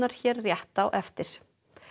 hér rétt á eftir